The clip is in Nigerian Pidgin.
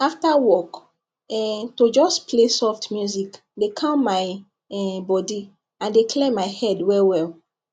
after work um to just play soft music dey calm my um body and dey clear my head well well